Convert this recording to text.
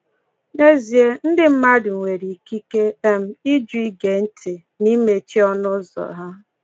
N’ezie, ndị mmadụ nwere ikike um ịjụ ige ntị — na imechi ọnụụzọ ha.